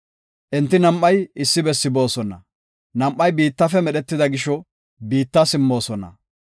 Enti nam7ay issi bessi boosona; nam7ay biittafe medhetida gisho, biitta simmoosona.